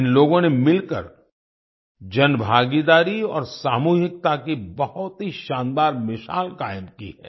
इन लोगों ने मिलकर जनभागीदारी और सामूहिकता की बहुत ही शानदार मिसाल कायम की है